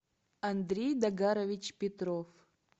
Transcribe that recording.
андрей догарович петров